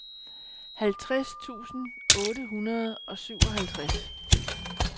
halvtreds tusind otte hundrede og syvoghalvtreds